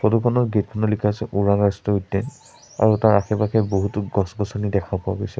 Photo খনত gate খনত লিখা আছে ওৰাং ৰাষ্ট্ৰীয় উদ্যান আৰু তাৰ আশে পাশে বহুতো গছ গছনি দেখা পোৱা গৈছে।